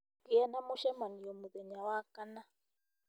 gĩa na mũcemanio mũthenya wa kana